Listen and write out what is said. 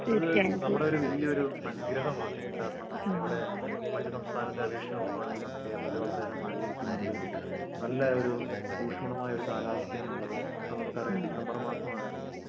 അത് നമ്മടൊരു വല്യൊരു അനുഗ്രഹമാണ് കാരണം നമുക്കിവിടെ മറ്റു സംസ്ഥാനത്തെ അപേക്ഷിച്ച് നോക്കുവാണെങ്കിൽ നമ്മുക്ക് കേരളത്തിൽ ആന്ത്രെലും മഴ ലഭിക്കുന്നുണ്ട് നല്ലയൊരു ഉഷ്മളമായൊരു കാലാവസ്ഥയാണുള്ളത് ഇപ്പൊ നമ്മുക്കറിയാം ഡിസംബർ മാസമാണ്